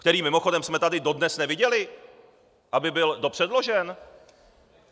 Který, mimochodem, jsme tady dodnes neviděli, aby byl dopředložen?